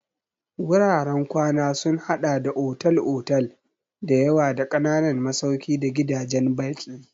Wuraren kwana sun haɗa da otal-otal da yawa da ƙananan masauki da gidajen baƙi.